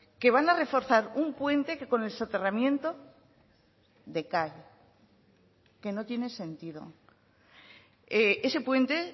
que van a reforzar un puente que con el soterramiento decae que no tiene sentido ese puente